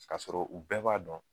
Ka sɔrɔ u bɛɛ b'a dɔn